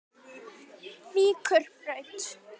Víkurbraut